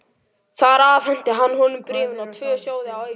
Þar afhenti hann honum bréfin og tvo sjóði að auki.